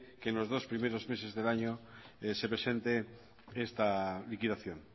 que los dos primeros meses del año se presente esta liquidación